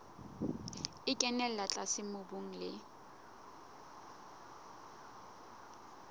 e kenella tlase mobung le